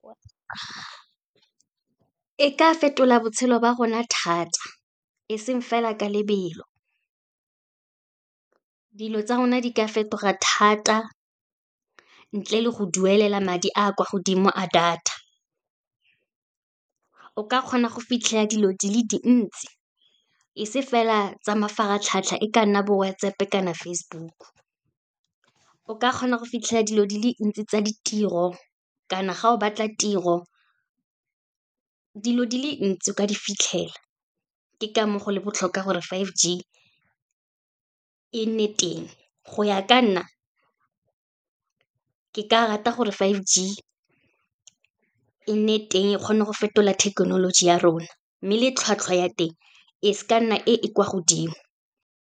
E ka fetola botshelo ba rona thata, eseng fela ka lebelo. Dilo tsa rona di ka fetoga thata, ntle le go duelela madi a kwa godimo a data, o ka kgona go fitlhela dilo dile dintsi, e se fela tsa mafaratlhatlha, e ka nna bo WhatsApp kana Facebook-o. O ka kgona go fitlhela dilo di le ntsi tsa ditiro, kana ga o batla tiro, dilo di le ntsi o ka di fitlhela, ke ka moo go le botlhokwa gore five G e nne teng. Go ya ka nna, ke ka rata gore five G e nne teng e kgone go fetola thekenoloji ya rona, mme le tlhwatlhwa ya teng e se ka nna e e kwa godimo.